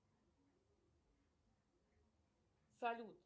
салют